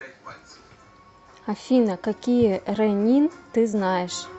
афина какие ренин ты знаешь